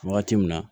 Wagati min na